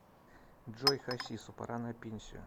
джой хасису пора на пенсию